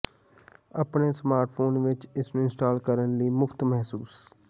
ਆਪਣੇ ਸਮਾਰਟਫੋਨ ਵਿੱਚ ਇਸ ਨੂੰ ਇੰਸਟਾਲ ਕਰਨ ਲਈ ਮੁਫ਼ਤ ਮਹਿਸੂਸ